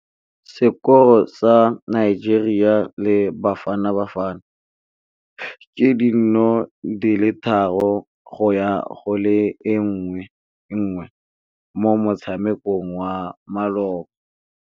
Sekôrô sa Nigeria le Bafanabafana ke 3-1 mo motshamekong wa malôba.